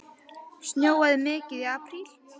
Snjóaði mikið í apríl?